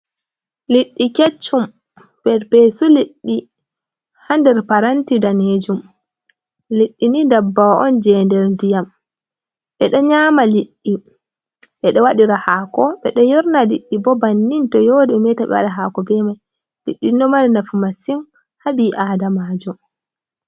Liɗɗi Keccum: Perpesu liɗɗi di ha nder paranti danejum. Liɗɗi ni ndabbawa on je nder ndiyam. Ɓedo nyama liɗɗi ɓedo waɗira haako, ɓeɗo yorna liɗɗi bo bannin to yori ɓe meta be waɗa haako be mai. Liɗɗi nomar nafu masin habi adamajum